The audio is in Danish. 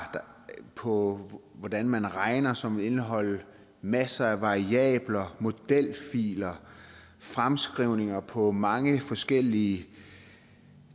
på hvordan man regner som vil indeholde masser af variabler modelfiler fremskrivninger på mange forskellige